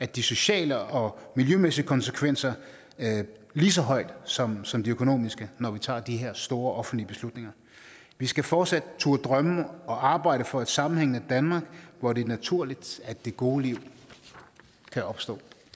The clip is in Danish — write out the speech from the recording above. de sociale og miljømæssige konsekvenser lige så højt som som de økonomiske når vi tager de her store offentlige beslutninger vi skal fortsat turde drømme og arbejde for et sammenhængende danmark hvor det er naturligt at det gode liv kan opstå